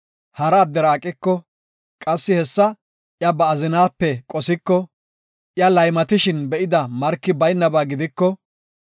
hara addera aqiko, qassi hessa iya ba azinaape qosiko, iya laymatishin be7ida marki baynaba gidiko,